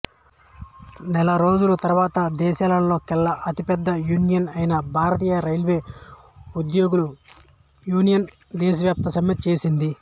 నెలరోజుల తర్వాత దేశంలోకెల్లా అతిపెద్ద యూనియన్ అయిన భారతీయ రైల్వే ఉద్యోగుల యూనియన్ దేశవ్యాప్త సమ్మె చేసింది